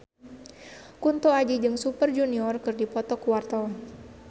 Kunto Aji jeung Super Junior keur dipoto ku wartawan